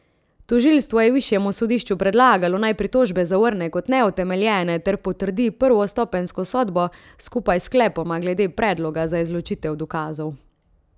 Tožilstvo je višjemu sodišču predlagalo, naj pritožbe zavrne kot neutemeljene ter potrdi prvostopenjsko sodbo, skupaj s sklepoma glede predloga za izločitev dokazov.